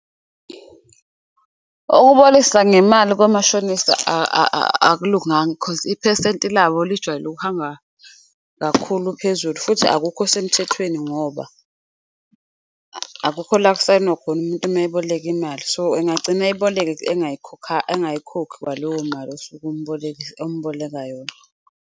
Ukubolekisa ngemali komashonisa akulunganga khozi iphesenti labo lijwayele ukuhamba kakhulu phezulu, futhi akukho semthethweni ngoba akukho la okusayinwa khona umuntu mayeboleka imali. So, engagcina eyiboleka engayikhokhi kwaleyo mali osuke omboleka yona.